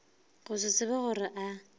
go se tsebe gore a